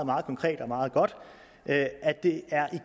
meget konkret og meget godt